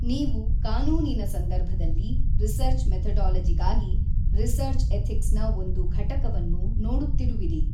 ನೀವು ಕಾನೂನಿನ ಸಂದರ್ಭದಲ್ಲಿ ರಿಸರ್ಚ್ ಮೆಥೊಡೊಲೊಜಿಗಾಗಿ ರಿಸರ್ಚ್ ಎಥಿಕ್ಸ್ ನ ಒಂದು ಘಟಕವನ್ನು ನೋಡುತ್ತಿರುವಿರಿ.